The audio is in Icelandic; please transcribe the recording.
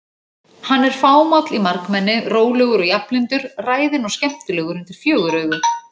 Hann er fámáll í margmenni, rólegur og jafnlyndur, ræðinn og skemmtilegur undir fjögur augu.